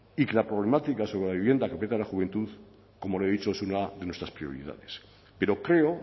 y que la problemática sobre la vivienda que afecta a la juventud como le he dicho es una de nuestras prioridades pero creo